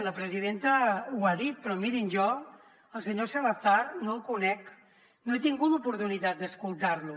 la presidenta ho ha dit però mirin jo el senyor salazar no el conec no he tingut l’oportunitat d’escoltar lo